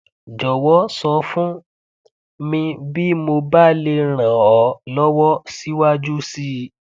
jọwọ sọ fún mi bí mo bá lè ran ọ lọwọ síwájú síi